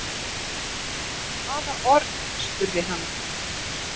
Hvaða orð? spurði hann.